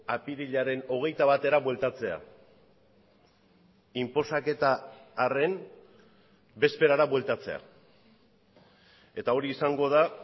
apirilaren hogeita batera bueltatzea inposaketa harren bezperara bueltatzea eta hori izango da